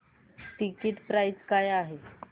ticket price काय आहे